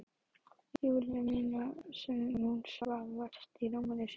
Júlíu mína þar sem hún svaf vært í rúminu sínu.